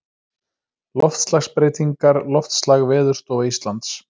Loftslagsbreytingar Loftslag Veðurstofa Íslands.